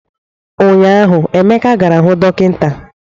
Ụnyahụ Emeka gara hụ dọkịta